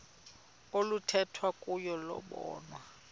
oluthethwa kuyo lobonwa